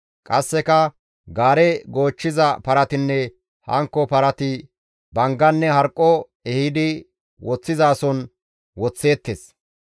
Qasseka gaare goochchiza paratinne hankko parati bangganne harqqo ehidi woththizason woththeettes.